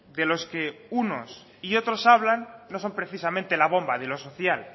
de los que unos y otros hablan no son precisamente la bomba de lo social